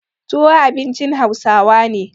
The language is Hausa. Tuwo abincin Hausawa ne.